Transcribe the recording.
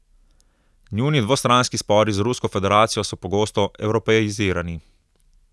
Njuni dvostranski spori z Rusko federacijo so pogosto evropeizirani.